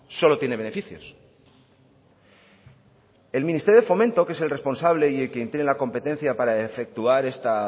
solo tiene beneficios el ministerio de fomento que es el responsable y quien tiene la competencia para efectuar